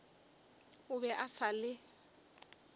o be a sa le